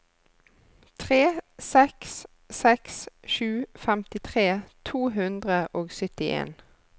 tre seks seks sju femtitre to hundre og syttien